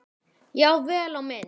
Já, vel á minnst.